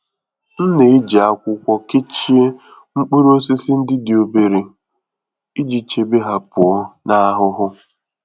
M na-eji akwụkwọ kechie mkpụrụ osisi ndi dị obere iji chebe ha pụọ na ahụhụ.